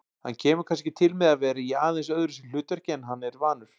Hann kemur kannski til með að vera í aðeins öðruvísi hlutverki en hann er vanur.